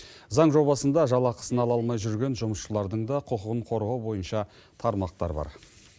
заң жобасында жалақысын ала алмай жүрген жұмысшылардың да құқығын қорғау бойынша тармақтар бар